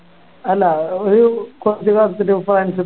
അല്ല ഒരു കൊറച്ച് കറുത്തിട്ട് ഫ്രാൻസ്